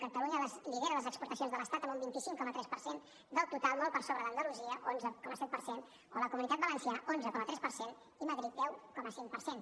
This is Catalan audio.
catalunya lidera les exportacions de l’estat amb un vint cinc coma tres per cent del total molt per sobre d’andalusia onze coma set per cent o la comunitat valenciana onze coma tres per cent i madrid deu coma cinc per cent